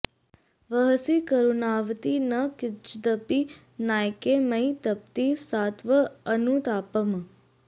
वहसि करुणावति न किञ्चिदपि नायके मयि तपति सात्त्वं अनुतापम्